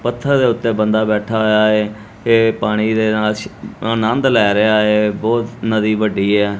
ਪੱਥਰ ਦੇ ਉੱਤੇ ਬੰਦਾ ਬੈਠਾ ਹੋਇਆ ਐ ਇਹ ਪਾਣੀ ਦੇ ਨਾਲ ਆਨੰਦ ਲੈ ਰਿਹਾ ਐ ਬਹੁਤ ਨਦੀ ਵੱਡੀ ਹੈ।